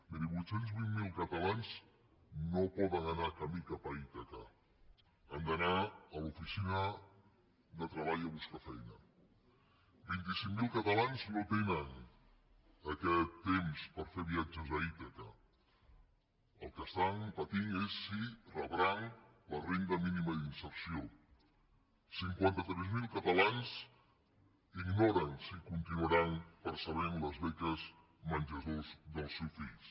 miri vuit cents i vint miler catalans no poden anar camí cap a ítaca han d’anar a l’oficina de treball a buscar feina vint cinc mil catalans no tenen aquest temps per fer viatges a ítaca el que estan patint és si rebran la renda mínima d’inserció cinquanta tres mil catalans ignoren si continuaran percebent les beques menjador dels seus fills